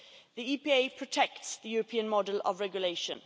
The EPA protects the European model of regulation.